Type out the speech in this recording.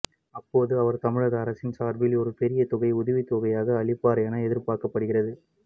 அப்போது அவர் தமிழக அரசின் சார்பில் ஒரு பெரிய தொகை உதவித்தொகையாக அளிப்பார் என எதிர்பார்க்கப்படுகிறது